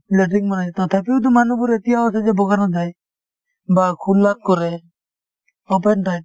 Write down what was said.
latrine বনাইছে তথাপিওতো মানুহবোৰে এতিয়াও আছে যে বগানত যায় বা খোলাত কৰে open type